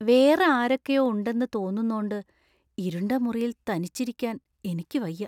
വേറെ ആരൊക്കെയോ ഉണ്ടെന്ന് തോന്നുന്നോണ്ട് ഇരുണ്ട മുറിയിൽ തനിച്ചിരിക്കാൻ എനിക്ക് വയ്യ.